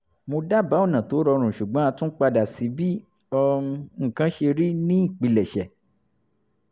mo dábáà ọ̀nà tó rọrùn ṣùgbọ́n a tún padà sí bí um nǹkan ṣe rí ní ìpilẹ̀ṣẹ̀